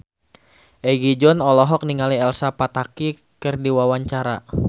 Egi John olohok ningali Elsa Pataky keur diwawancara